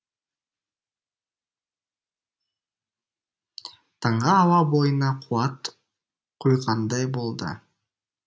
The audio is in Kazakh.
таңғы ауа бойына қуат құйғандай болды